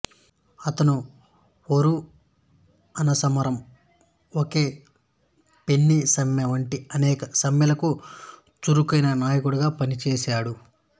అతను ఒరు అన సమరం ఒకే పెన్నీ సమ్మె వంటి అనేక సమ్మెలకు చురుకైన నాయకుడుగా పనిచేసాడు